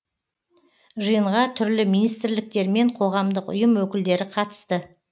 жиынға түрлі министрліктер мен қоғамдық ұйым өкілдері қатысты